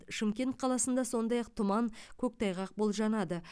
шымкент қаласында сондай ақ тұман көктайғақ болжанады